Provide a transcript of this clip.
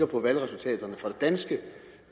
på valgresultaterne fra danske